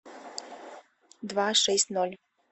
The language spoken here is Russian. два шесть ноль